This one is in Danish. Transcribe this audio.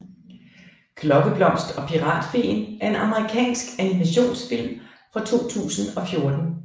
Klokkeblomst og Piratfeen er en amerikansk animationsfilm fra 2014